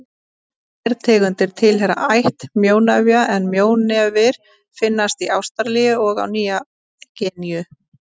Tvær tegundir tilheyra ætt mjónefja en mjónefir finnast í Ástralíu og á Nýju-Gíneu.